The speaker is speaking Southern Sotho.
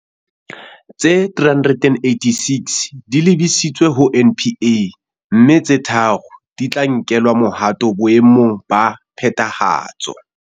Tse 386 di lebisitswe ho NPA, mme tse tharo di tla nkelwa mohato boe mong ba phethahatso.